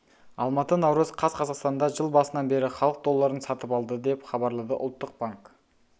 алматы наурыз қаз қазақстанда жыл басынан бері халық долларын сатып алды деп хабарлады ұлттық банк